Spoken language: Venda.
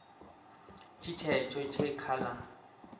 tshi tshetsho tshe kha la